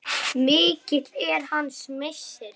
Mikill er hans missir.